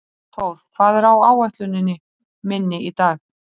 Thór, hvað er á áætluninni minni í dag?